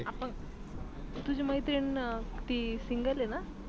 आपण तुझी मैत्रीन ती single आहे ना?